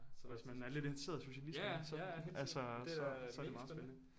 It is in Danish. Så hvis man er lidt interesseret i socialisme så altså så så er det meget spændende